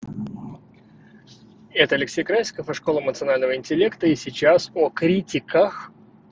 это алексей красиков и школа эмоционального интеллекта и сейчас о критиках